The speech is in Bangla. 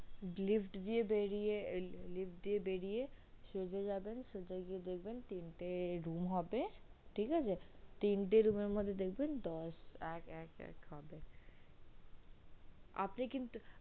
lift দিয়ে বেরিয়ে lift দিয়ে বেরিয়ে সোজা যাবেন সোজা গিয়ে দেখবেন তিনটে room হবে ঠিক আছে তিনটে room এর মধ্যে দেখবেন দশ এক এক হবে আপনে কিন্তু